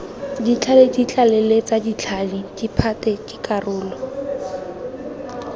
ditlhale ditlaleletsa ditlhale diphate dikarolo